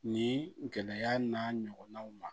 Ni gɛlɛya n'a ɲɔgɔnnaw ma